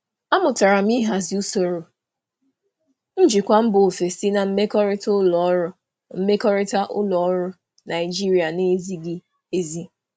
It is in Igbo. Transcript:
Ana m amụta ịhazi ụdị njikwa siri ike si mba ọzọ na mmekọrịta ụlọ ọrụ Naịjirịa na-abụghị nke nkịtị.